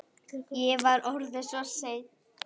Ég var orðinn svo seinn.